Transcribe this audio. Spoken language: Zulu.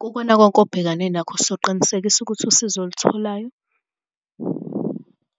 Kukona konke obhekane nakho soqinisekisa ukuthi usizo olutholayo